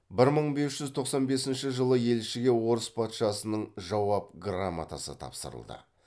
бір мың бес жүз тоқсан бесінші жылы елшіге орыс патшасының жауап грамотасы тапсырылды